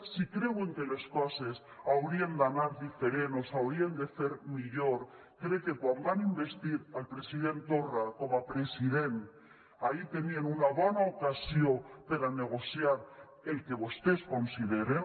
si creuen que les coses haurien d’anar diferent o s’haurien de fer millor crec que quan van investir el president torra com a president ahí tenien una bona ocasió per a negociar el que vostès consideren